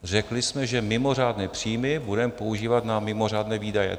Řekli jsme, že mimořádné příjmy budeme používat na mimořádné výdaje.